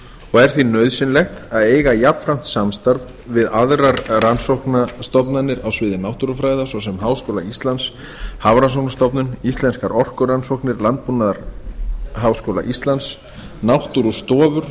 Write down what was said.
og er því nauðsynlegt að eiga jafnframt samstarf við aðrar rannsóknastofnanir á sviði náttúrufræða svo sem háskóla íslands hafrannsóknastofnun íslenskar orkurannsóknir landbúnaðarháskóla íslands náttúrustofur